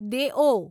દેઓ